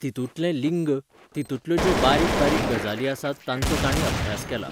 तितुंतलें लिंग, तितुंतले ज्यो बारीक बारीक गजाली आसात तांचो ताणी अभ्यास केला.